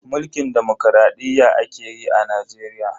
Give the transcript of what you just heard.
Mulkin demokradiyya ake yi a Najeriya.